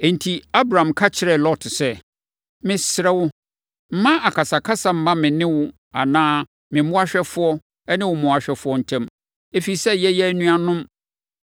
Enti, Abram ka kyerɛɛ Lot sɛ, “Mesrɛ wo, mma akasakasa mma me ne wo anaa me mmoahwɛfoɔ ne wo mmoahwɛfoɔ ntam, ɛfiri sɛ, yɛyɛ anuanom.